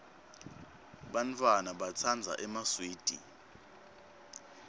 bantfwana batsandza emaswidi